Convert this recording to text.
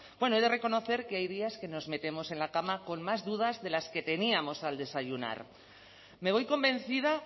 bueno he de reconocer que hay días que nos metemos en la cama con más dudas de las que teníamos al desayunar me voy convencida